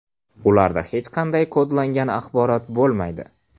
Ularda hech qanday kodlangan axborot bo‘lmaydi.